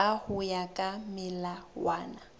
ka ho ya ka melawana